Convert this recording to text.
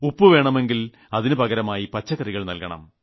ഉപ്പ് വേണമെങ്കിൽ അതിനു പകരമായി പച്ചക്കറികൾ നൽകണം